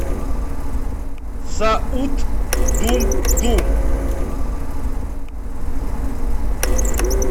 саут думдум